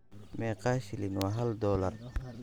Meeqa shilin waa hal dollar?